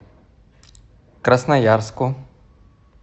красноярску